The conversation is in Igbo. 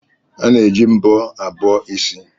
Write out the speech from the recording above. A na-eji mbọ abọ isi.